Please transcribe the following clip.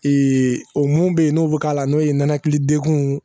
o mun bɛ yen n'o bɛ k'a la n'o ye nɛnɛkili degun